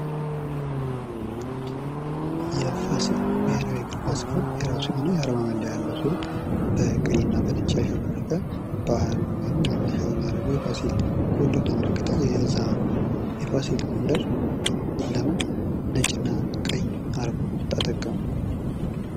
የፋሲል ብሔራዊ እግር ኳስ ክለብ የራሱ የሆነ የአርማ መለያ ያለው ሲሆን በቀይ እና በነጭ ያሸበረቀ ባህሉን ወይም መነሻውን ያደረገ የፋሲል ጎንደርን ያመለከተ የዛ የፋሲል ጎንደር ለምን ነጭ እና ቀይ አርማ ተጠቀሙ?